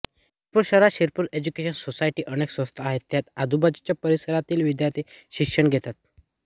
शिरपूर शहरात शिरपूर एज्युकेशन सोसायटीच्या अनेक संस्था आहेत त्यात आजूबाजूच्या परिसरातील विद्यार्थी शिक्षण घेतात